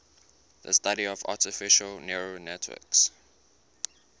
the study of artificial neural networks